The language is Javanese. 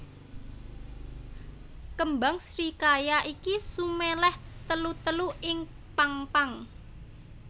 Kembang srikaya iki suméléh telu telu ing pang pang